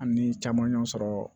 An ni caman y'o sɔrɔ